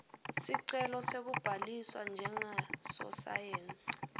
sicelo sekubhaliswa njengasosayensi